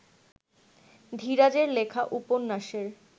ধীরাজের লেখা উপন্যাসের